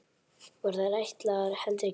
Voru þær ætlaðar heldri gestum.